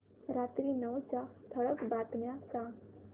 रात्री नऊच्या ठळक बातम्या सांग